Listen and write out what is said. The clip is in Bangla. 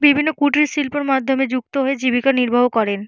বিভিন্ন কুটির শিল্পর মাধ্যমে যুক্ত হয়ে জীবিকা নির্বাহ করেন।